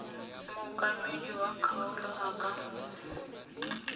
mookamedi wa kgaolo a ka